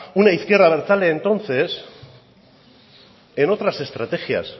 una izquierda abertzale entonces en otras estrategias